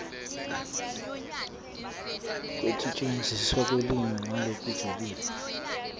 kwekusetjentiswa kwelulwimi ngalokujulile